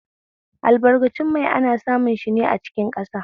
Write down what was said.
Albarkatun mai ana samun shine a cikin ƙasa